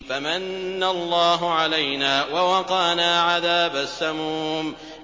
فَمَنَّ اللَّهُ عَلَيْنَا وَوَقَانَا عَذَابَ السَّمُومِ